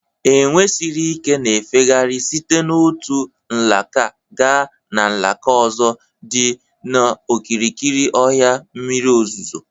Enwe siri ikena-efegharị site n'otu alaka gaa n'alaka ozo dị n'okirikiri ọhịa mmiri ozuzo.